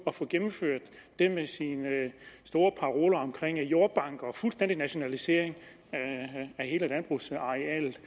at få gennemført de store paroler om jordbanker og fuldstændig nationalisering af hele landbrugsarealet